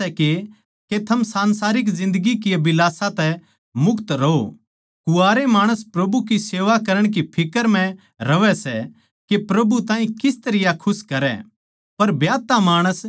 मेरी इच्छा या सै के थम संसारिक जिन्दगी की अभिलाषा तै मुक्त रहों कुँवारे माणस प्रभु की सेवा करण की फिक्र म्ह रहवै सै के प्रभु ताहीं किस तरियां खुश करै